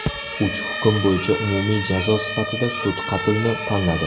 Uch hukm bo‘yicha umumiy jazo sifatida sud qatlni tanladi.